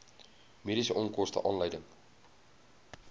mediese onkoste aanleiding